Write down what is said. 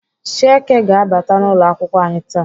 Chieke ga-abata n'ụlọakwụkwọ anyị taa.